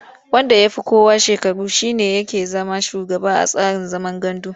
Wanda ya fi kowa shekaru shi ne yake zama shugaba a tsarin zaman gandu.